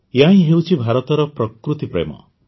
ଏହାହିଁ ହେଉଛି ଭାରତର ପ୍ରକୃତି ପ୍ରେମ